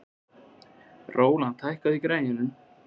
Rólant, hækkaðu í græjunum.